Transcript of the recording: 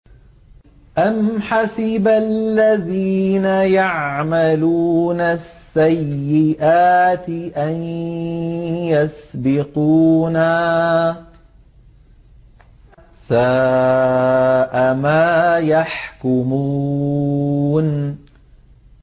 أَمْ حَسِبَ الَّذِينَ يَعْمَلُونَ السَّيِّئَاتِ أَن يَسْبِقُونَا ۚ سَاءَ مَا يَحْكُمُونَ